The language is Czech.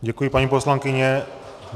Děkuji, paní poslankyně.